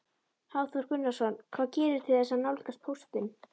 Hafþór Gunnarsson: Hvað gerirðu til þess að nálgast póstinn?